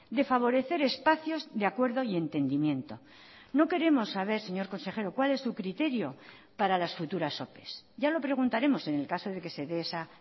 de favorecer espacios de acuerdo y entendimiento no queremos saber señor consejero cuál es su criterio para las futuras ope ya lo preguntaremos en el caso de que se dé esa